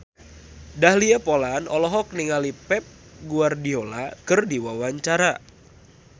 Dahlia Poland olohok ningali Pep Guardiola keur diwawancara